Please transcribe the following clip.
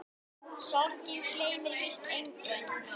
Sorgin gleymir víst engum.